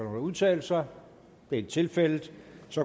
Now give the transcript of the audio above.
at udtale sig det er ikke tilfældet